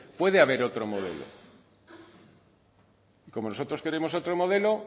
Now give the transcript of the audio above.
puede haber otro modelo y como nosotros queremos otro modelo